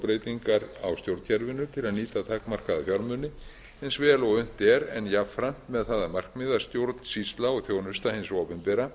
breytingar á stjórnkerfinu til að nýta takmarkaða fjármuni eins vel og unnt er en jafnframt með það að markmiði að stjórnsýsla og þjónusta hins opinbera